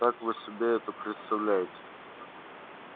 как вы себе это представляете